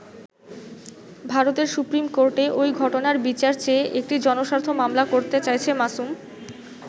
ভারতের সুপ্রিম কোর্টে ওই ঘটনার বিচার চেয়ে একটি জনস্বার্থ মামলা করতে চাইছে মাসুম।